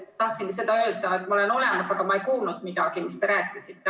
Tahtsin lihtsalt öelda, et ma olen olemas, aga ma ei kuulnud midagi, mis te rääkisite.